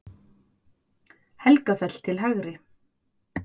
Helgafell til hægri.